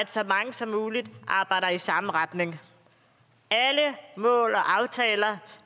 at så mange som muligt arbejder i samme retning alle mål og aftaler